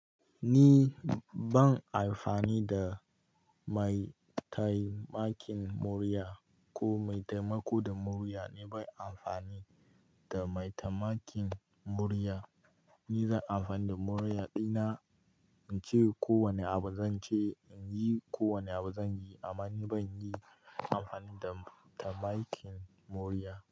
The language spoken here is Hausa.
Ni ban amfani da mai taimakin murya ko mai taimako da murya ni ban amfani da mai taimakin murya. Ni zan amfani da murya ɗina in ce kowane abu zan ce, in yi kowane abu zan yi amma ni ban yin amfani da taimakin murya.